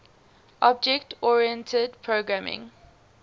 object oriented programming